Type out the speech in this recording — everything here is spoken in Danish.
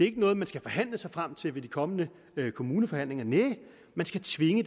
ikke noget man skal forhandle sig frem til ved de kommende kommuneforhandlinger næh man skal tvinge